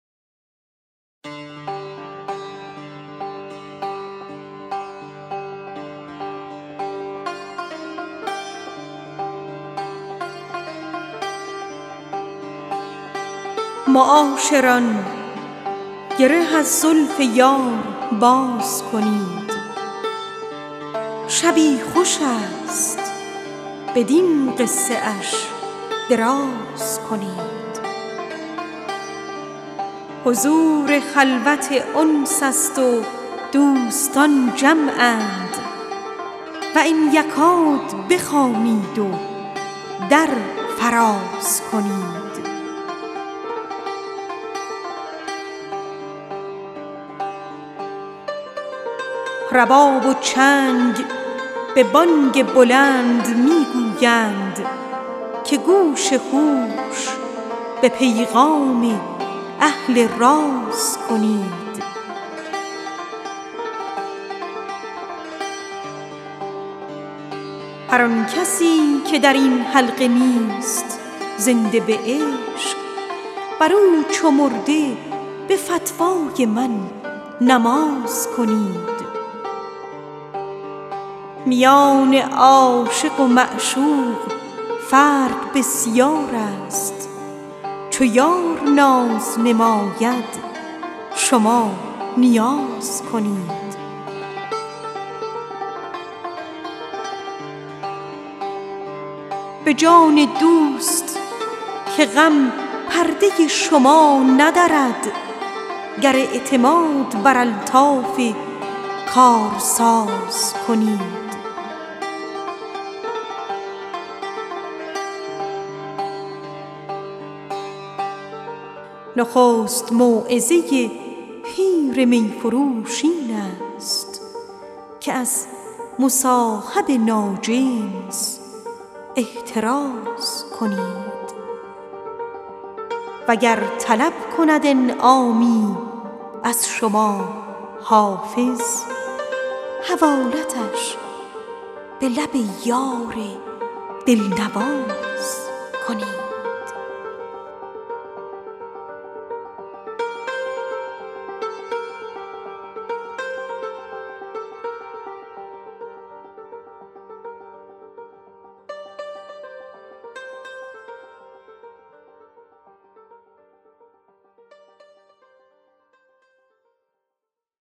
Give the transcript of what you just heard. معاشران گره از زلف یار باز کنید شبی خوش است بدین قصه اش دراز کنید حضور خلوت انس است و دوستان جمعند و ان یکاد بخوانید و در فراز کنید رباب و چنگ به بانگ بلند می گویند که گوش هوش به پیغام اهل راز کنید به جان دوست که غم پرده بر شما ندرد گر اعتماد بر الطاف کارساز کنید میان عاشق و معشوق فرق بسیار است چو یار ناز نماید شما نیاز کنید نخست موعظه پیر صحبت این حرف است که از مصاحب ناجنس احتراز کنید هر آن کسی که در این حلقه نیست زنده به عشق بر او نمرده به فتوای من نماز کنید وگر طلب کند انعامی از شما حافظ حوالتش به لب یار دل نواز کنید